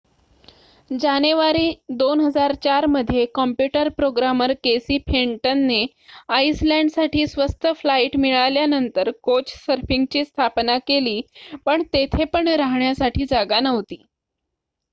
जानेवारी 2004 मध्ये computer programmer Casey फेंटनने आइसलँडसाठी स्वस्त फ्लाईट मिळाल्यानंतर कोचसर्फिंगची स्थापना केली पण तेथे पण राहण्यासाठी जागा नव्हती